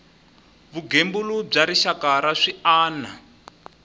vugembuli bya rixaka na swiana